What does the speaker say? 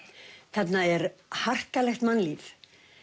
þarna er harkalegt mannlíf